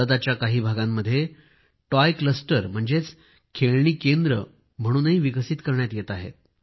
भारताच्या काही भागामध्ये टॉय क्लस्टर म्हणजेच खेळणी केंद्र म्हणूनही विकसित करण्यात येत आहेत